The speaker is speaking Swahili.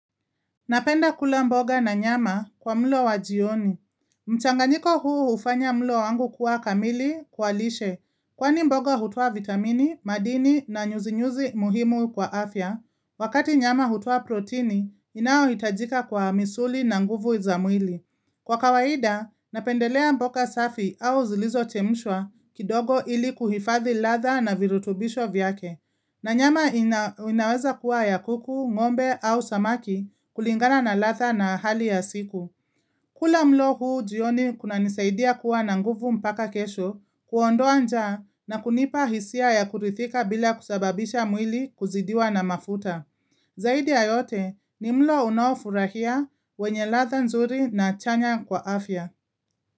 Napenda kula mboga na nyama kwa mlo wa jioni. Mchanganyiko huu hufanya mlo wangu kuwa kamili, kwa lishe. Kwani mboga hutoa vitamini, madini na nyuzi-nyuzi muhimu kwa afya. Wakati nyama hutoa protini inayo hitajika kwa misuli na nguvu za mwili. Kwa kawaida, napendelea mboga safi au zilizo chemshwa kidogo ili kuhifadhi ladha na virutubisho vyake. Na nyama inaweza kuwa ya kuku, ngombe au samaki kulingana na ladha na hali ya siku. Kula mlo huu jioni kunanisaidia kuwa na nguvu mpaka kesho, kuondoa njaa na kunipa hisia ya kuridhika bila kusababisha mwili kuzidiwa na mafuta. Zaidi ya yote ni mlo unaofurahisha wenye ladha nzuri na chanya kwa afya.